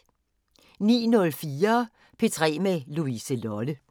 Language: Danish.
09:04: P3 med Louise Lolle